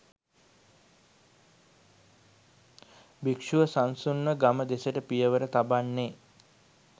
භික්‍ෂුව සන්සුන්ව ගම දෙසට පියවර තබන්නේ